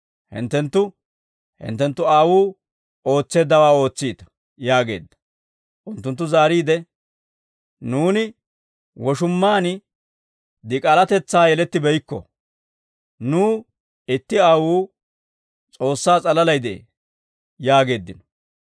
Hinttenttu, hinttenttu aawuu ootseeddawaa ootsiita» yaageedda. Unttunttu zaariide, «Nuuni woshumaan dik'aalatetsaa yelettibeykko; nuw itti Aawuu, S'oossaa s'alalay de'ee» yaageeddino.